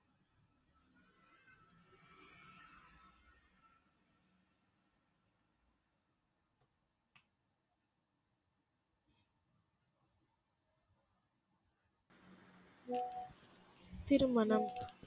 திருமணம்